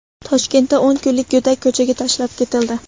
Toshkentda o‘n kunlik go‘dak ko‘chaga tashlab ketildi.